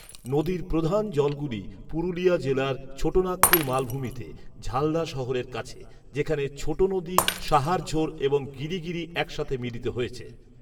নদীর প্রধান জলগুলি পুরুলিয়া জেলার ছোট নাগপুর মালভূমিতে, ঝালদা শহরের কাছে, যেখানে ছোট নদী সাহারঝোর এবং গিরিগিরি একসাথে মিলিত হয়েছে।